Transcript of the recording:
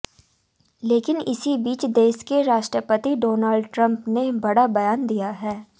लेकिन इसी बीच देश के राष्ट्रपति डोनाल्ड ट्रम्प ने बड़ा बयान दिया है